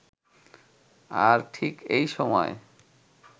আর ঠিক এই সময়